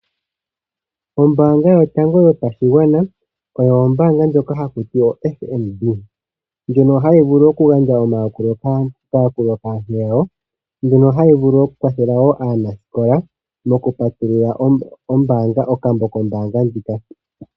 Ombaanga ya FNB, otayi tseyi thile aantu nkene yena oku totapo uukalata wawo . Oto vulu okuya mona moondolopa dhi ile , onkene ohaya kwathele aantu kombinga yo ku totapo uukala wo mapungulilo.